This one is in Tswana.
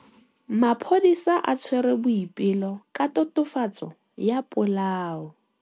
Maphodisa a tshwere Boipelo ka tatofatsô ya polaô.